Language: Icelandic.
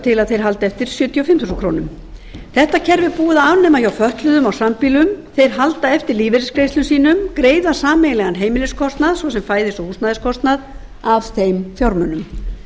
til að þeir haldi eftir sjötíu og fimm þúsund krónur þetta kerfi er búið að afnema hjá fötluðum á sambýlum þeir halda lífeyrisgreiðslum sínum en greiða sameiginlegan heimiliskostnað svo sem fæðis og húsnæðiskostnað af þeim fjármunum